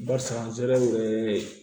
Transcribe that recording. Barisa an sera